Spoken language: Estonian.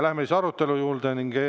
Läheme arutelu juurde.